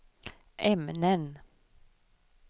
ämnen